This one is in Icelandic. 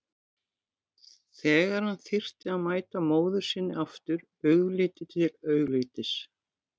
Þegar hann þyrfti að mæta móður sinni aftur augliti til auglitis.